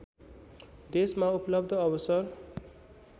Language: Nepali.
देशमा उपलब्ध अवसर